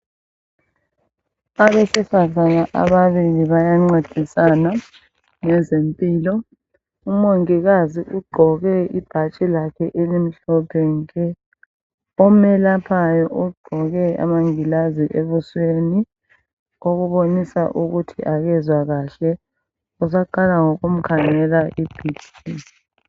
Abesifazana ababili bayancedisana ngezempilo. Umongikazi ugqoke ibhatshi lakhe elimhlophe nke omelaphayo ugqoke amangilazi ebusweni okubonisa ukuthi akezwa kahle usaqala ngokumkhangela I BP